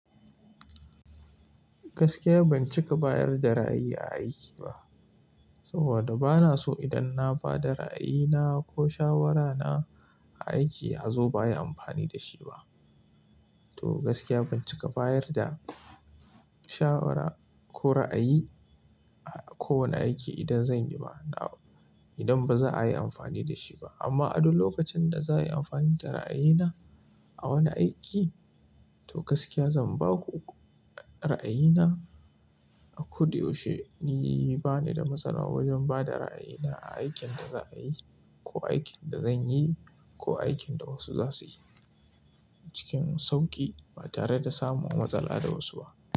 Gaskiya ban cika bayar da ra'ayi a aiki ba, saboda bana so idan na ba da ra'ayina ko shawarana a aiki azo ba'ai amfani da shi ba. To gaskiya ban cika bayar da shawara ko ra'ayi a kowane aiki idan zan yi ba, idan baza a yi amfani da shi ba. Amma adun lokacin da za'a yi amfani da ra'ayina a wani aiki, to gaskiya zan ba ku ra'ayina a kuda yaushe che ni bani da matsala wajen ba da ra'ayina a aikin da za'a yi ko aikin da zan yi ko aikin da wasu za su yi cikin sauƙi ba tare da samun matsala da wasu ba.